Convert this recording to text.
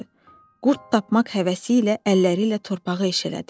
Qurd tapmaq həvəsi ilə əlləri ilə torpağı eşələdi.